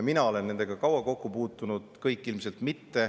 Mina olen nendega kaua kokku puutunud, kõik ilmselt mitte.